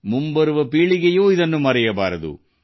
ಮುಂದಿನ ಪೀಳಿಗೆಯೂ ಮರೆಯಬಾರದು